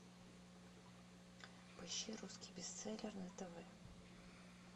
поищи русский бестселлер на тв